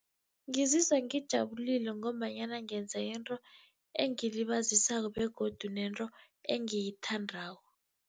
Ngizizwa ngijabulile, ngombanyana ngenza into engilibazisako begodu nento engiyithandako.